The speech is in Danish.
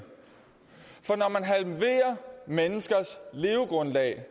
halverer menneskers levegrundlag